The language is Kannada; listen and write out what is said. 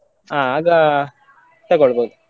ಆ ಆಗ ತಕೊಳ್ಬೋದು.